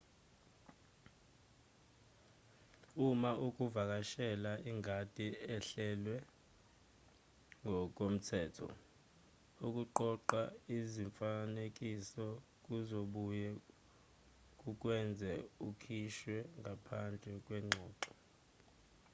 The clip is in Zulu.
uma ukuvakashela ingadi ehlelwe ngokomthetho ukuqoqa izifanekiso kuzobuye kukwenze ukhishwe ngaphandle kwengxoxo